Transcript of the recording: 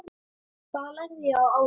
Hvað lærði ég á árinu?